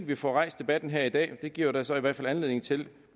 vi får rejst debatten her i dag det giver jo da så i hvert fald anledning til